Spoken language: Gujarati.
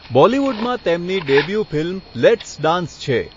બોલીવુડમાં તેમની ડેબ્યુ ફિલ્મ 'લેટ્સ ડાન્સ' છે.